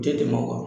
Tɛ tɛmɛ o kan